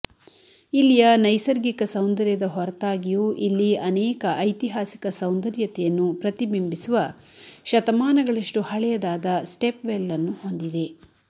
ಇಲ್ಲಿಯ ನೈಸರ್ಗಿಕ ಸೌಂದರ್ಯದ ಹೊರತಾಗಿಯೂ ಇಲ್ಲಿ ಅನೇಕ ಐತಿಹಾಸಿಕ ಸೌಂದರ್ಯತೆಯನ್ನು ಪ್ರತಿಬಿಂಬಿಸುವ ಶತಮಾನಗಳಷ್ಟು ಹಳೆಯದಾದ ಸ್ಟೆಪ್ ವೆಲ್ ಅನ್ನು ಹೊಂದಿದೆ